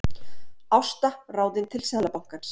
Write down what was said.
Ásta ráðin til Seðlabankans